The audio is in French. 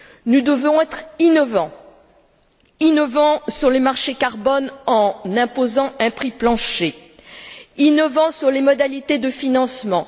Nous devons être innovants, innovants sur les marchés du carbone en imposant un prix plancher, innovants sur les modalités de financement.